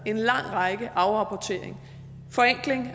en lang række afrapporteringer forenkling